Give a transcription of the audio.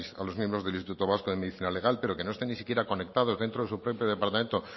a los miembros del instituto vasco de medicina legal pero que no estén ni siquiera conectados dentro de su propio departamento